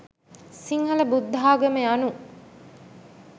සිංහල බුද්ධාගම යනු